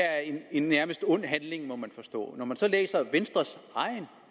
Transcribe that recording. er en nærmest ond handling må man forstå når man så læser venstres eget